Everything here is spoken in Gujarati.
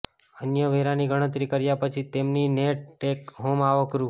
અન્ય વેરાની ગણતરી કર્યા પછી તેમની નેટ ટેક હોમ આવક રૂ